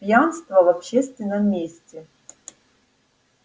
пьянство в общественном месте